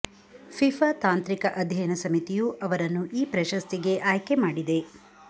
FIFA ತಾಂತ್ರಿಕ ಅಧ್ಯಯನ ಸಮಿತಿಯು ಅವರನ್ನು ಈ ಪ್ರಶಸ್ತಿಗೆ ಆಯ್ಕೆ ಮಾಡಿದೆ